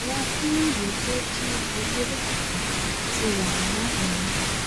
àwọn fúlàní tó jí ọba gbé lẹ́kìtì ti wà láhàámọ̀